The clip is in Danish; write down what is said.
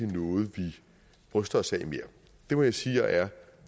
noget vi bryster os af mere det må jeg sige jeg er